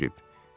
O huşunu itirib.